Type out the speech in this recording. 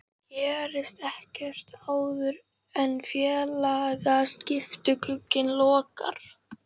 Gerist ekkert áður en félagaskiptaglugginn lokar?